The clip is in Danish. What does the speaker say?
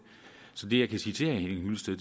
så det jeg kan sige til herre henning hyllested